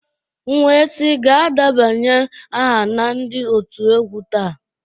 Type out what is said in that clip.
M wee sị gaa debanye aha na ndị otu egwu taa